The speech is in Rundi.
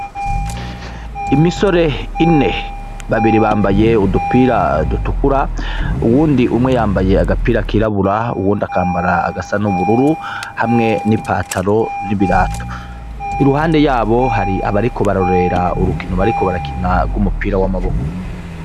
Imisore ine, babiri bambaye udupira dutukura, uyundi umwe yambaye agapira kirabura; uwundi akambara agasa n'ubururu hamwe n'ipantaro n'ibirato. Iruhande yabo hari abariko bararorera urukino bariko barakina rw'umupira w'amaboko.